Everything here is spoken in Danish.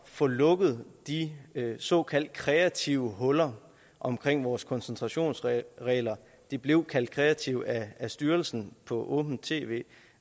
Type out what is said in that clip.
få lukket de såkaldt kreative huller omkring vores koncentrationsregler de blev kaldt kreative af styrelsen på åbent tv